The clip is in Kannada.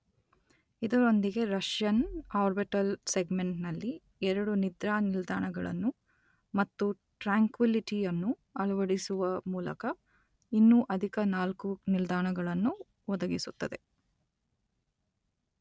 ಇದರೊಂದಿಗೆ ರಷ್ಯನ್ ಆರ್ಬಿಟಲ್ ಸೆಗ್ಮೆಂಟ್ ನಲ್ಲಿ ಎರಡು 'ನಿದ್ರಾ ನಿಲ್ದಾಣಗಳನ್ನು' ಮತ್ತು ಟ್ರ್ಯಾಂಕ್ವಿಲಿಟಿ ಯನ್ನು ಅಳವಡಿಸುವ ಮೂಲಕ ಇನ್ನೂ ಅಧಿಕ ನಾಲ್ಕು ನಿಲ್ದಾಣಗಳನ್ನು ಒದಗಿಸುತ್ತದೆ.